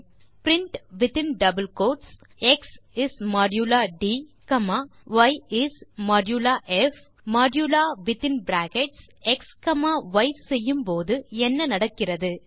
நீங்கள் print within double quotes x is modulo d comma y is modulo p modulo within brackets x comma y செய்யும் போது என்ன நடக்கிறது